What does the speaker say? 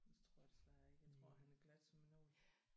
Men det tror jeg desværre ikke jeg tror han er glat som en ål